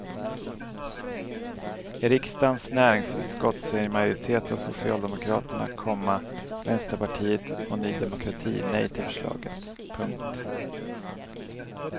I riksdagens näringsutskott säger en majoritet av socialdemokraterna, komma vänsterpartiet och ny demokrati nej till förslaget. punkt